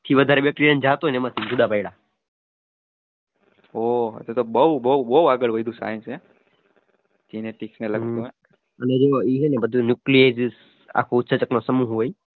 વધારે તો જુદા પડયા